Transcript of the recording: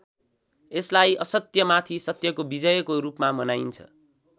यसलाई असत्य माथि सत्यको विजयको रूपमा मनाइन्छ।